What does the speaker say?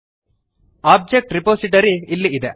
object repository ಇಲ್ಲಿ ಇದೆ